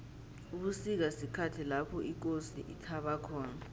ubusika sikhathi lapho ikosi ithaba khona